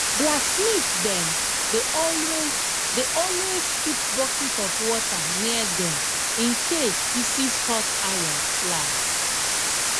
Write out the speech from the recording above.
blacksmith dem dey always dey always keep bucket of water near dem incase pieces hot iron fly